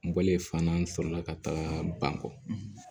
N bɔlen fan na n sɔrɔ la ka taga ban kɔ